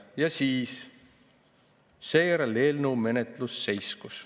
Ja seejärel eelnõu menetlus seiskus.